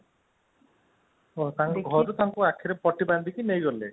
ହଉ ତାଙ୍କୁ ଘରୁ ତାଙ୍କ ଆଖିରେ ପଟି ବାନ୍ଧିକି ନେଇଗଲେ